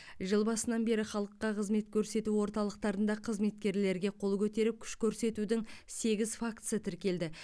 жыл басынан бері халыққа қызмет көрсету орталықтарында қызметкерлерге қол көтеріп күш көрсетудің сегіз фактісі тіркелді